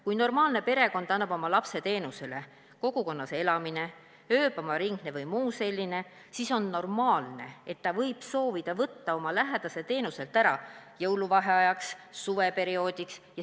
Kui normaalne perekond annab oma lapse teenusele , siis on normaalne, et ta võib soovida võtta oma lähedase teenuselt ära jõuluvaheajaks, suveperioodiks.